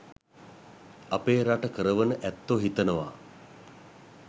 අපේ රට කරවන ඇත්තෝ හිතනවා